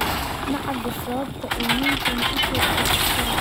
Ma cadda sababta uu ninkani u toogtay askariga.